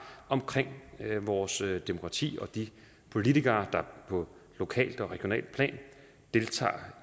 omkring vores demokrati og de politikere der på lokalt og regionalt plan deltager